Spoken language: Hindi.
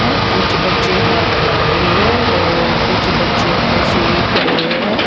यहां कुछ बच्चे हाथ बांधे हुए और कुछ बच्चे ऐसे ही खड़े हैं।